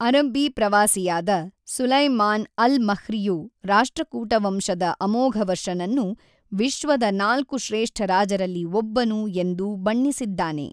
ಅರಬ್ಬೀ ಪ್ರವಾಸಿಯಾದ Sulaiman al ಮಹ್ರಿಯು ರಾಷ್ಟ್ರಕೂಟ ವಂಶದ ಅಮೋಘವರ್ಷನನ್ನು ವಿಶ್ವದ ನಾಲ್ಕು ಶ್ರೇಷ್ಠ ರಾಜರಲ್ಲಿ ಒಬ್ಬನು ಎಂದು ಬಣ್ಣಿಸಿದ್ದಾನೆ.